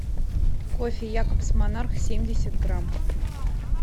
кофе якобс монарх семьдесят грамм